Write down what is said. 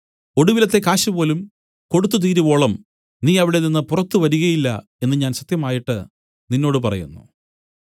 ഒടുവിലത്തെ കാശുപോലും കൊടുത്തുതീരുവോളം നീ അവിടെനിന്ന് പുറത്തു വരികയില്ല എന്നു ഞാൻ സത്യമായിട്ട് നിന്നോട് പറയുന്നു